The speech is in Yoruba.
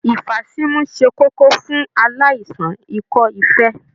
Ifasimu ṣe kókó fún aláìsàn ikọ-ifee.